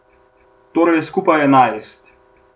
Torej skupaj enajst.